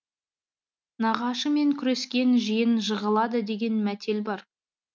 нағашы мен күрескен жиен жығылады деген мәтел бар